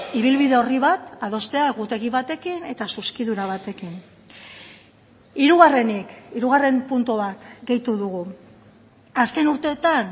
ibilbide horri bat adostea egutegi batekin eta zuzkidura batekin hirugarrenik hirugarren puntu bat gehitu dugu azken urteetan